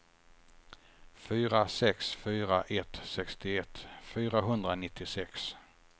fyra sex fyra ett sextioett fyrahundranittiosex